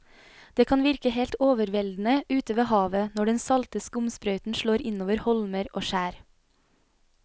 Det kan virke helt overveldende ute ved havet når den salte skumsprøyten slår innover holmer og skjær.